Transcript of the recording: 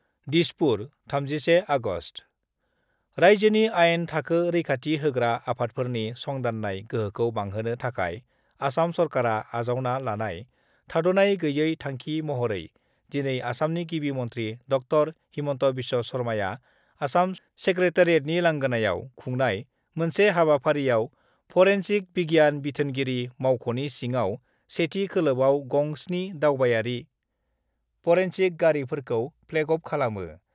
Dispur, 31 August: राइजोनि आइन थाखो रैखाथि होग्रा आफादफोरनि संदान्नाय गोहोखौ बांहोनो थाखाय आसाम सरकारा आजावना लानाय थाद'नाय गैयै थांखि महरै दिनै आसामनि गिबि मन्थ्रि ड० हिमन्त बिश्व शर्माआ आसाम सेक्रेटारियेटनि लांगोनायाव खुंनाय मोनसे हाबाफारियाव परेन्सिक बिगियान बिथोनगिरि मावख'नि सिङाव सेथि खोलोबयाव गं 7 दावबायारि दायनिगिरि परेनसिक गारिफोरखौ प्लेग अफ खालामो।